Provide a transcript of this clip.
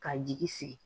Ka jigi sigi